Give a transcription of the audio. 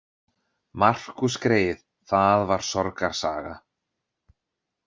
Markús greyið, það var sorgarsaga.